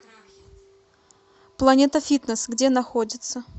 планета фитнес где находится